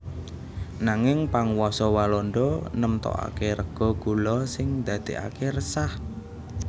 Nanging panguwasa Walanda nemtokaké rega gula sing ndadèkaké resah